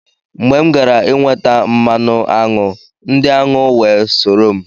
Mgbe m gara inweta mmanụ aṅụ, ndị aṅụ wee soro m.